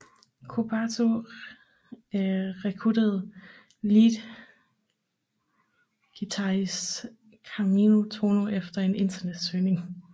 Kobato rekrutterede leadguitarist Kanami Tōno efter en internetsøgning